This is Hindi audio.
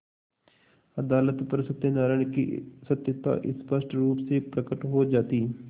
अदालत पर सत्यनारायण की सत्यता स्पष्ट रुप से प्रकट हो जाती